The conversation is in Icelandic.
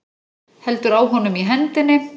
Heldur á honum í hendinni.